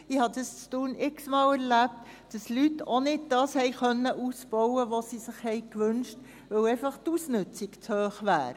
Ich habe in Thun x-mal erlebt, dass Leute auch nicht das ausbauen konnten, was sie sich gewünscht hatten, weil die Ausnützung einfach zu hoch wäre.